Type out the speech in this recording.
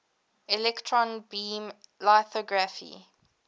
electron beam lithography